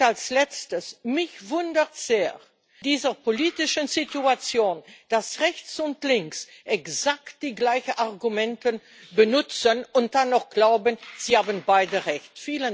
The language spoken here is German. Als Letztes Mich wundert in dieser politischen Situation sehr, dass Rechts und Links exakt die gleichen Argumente benutzen und dann noch glauben, sie hätten beide recht.